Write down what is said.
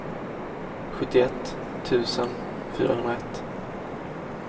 sjuttioett tusen fyrahundraett